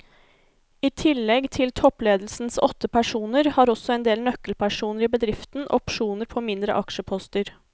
I tillegg til toppledelsens åtte personer har også en del nøkkelpersoner i bedriften opsjoner på mindre aksjeposter.